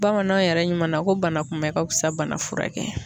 Bamananw yɛrɛ ɲuman na ko bana kunbɛn ka fusa bana furakɛ kɛ ye .